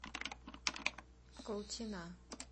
колчина